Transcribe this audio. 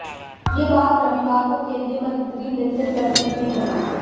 यह बात रविवार को केंद्रीय मंत्री नितिन गडकरी ने कही